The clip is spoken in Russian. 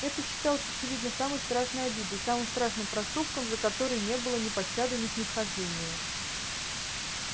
это считалось очевидно самой страшной обидой самым страшным проступком за который не было ни пощады ни снисхождения